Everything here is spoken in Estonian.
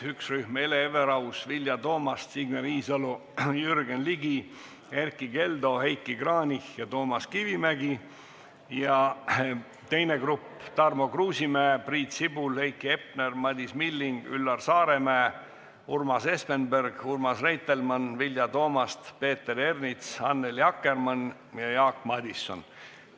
Üks rühm on Hele Everaus, Vilja Toomast, Signe Riisalo, Jürgen Ligi, Erkki Keldo, Heiki Kranich ja Toomas Kivimägi, ja teine grupp on Tarmo Kruusimäe, Priit Sibul, Heiki Hepner, Madis Milling, Üllar Saaremäe, Urmas Espenberg, Urmas Reitelmann, Vilja Toomast, Peeter Ernits, Annely Akkermann ja Jaak Madison.